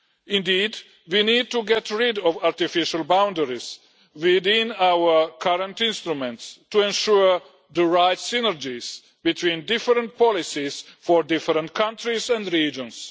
Indeed, we need to get rid of artificial boundaries within our current instruments to ensure the right synergies between different policies for different countries and regions.